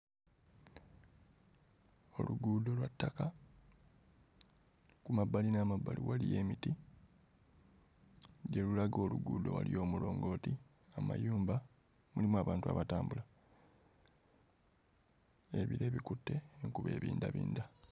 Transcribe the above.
Oluguudo lwa ttaka ku mabbali n'emabbali waliyo emiti gye lulaga oluguudo waliyo omulongooti, amayumba mulimu abantu abatambula ebire bikutte enkuba ebindabinda.